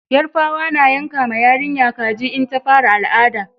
Yarbawa na yanka ma yarinya kaji in ta fara al'ada